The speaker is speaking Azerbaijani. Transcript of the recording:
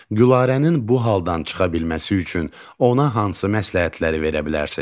Gülarənin bu haldan çıxa bilməsi üçün ona hansı məsləhətləri verə bilərsiz?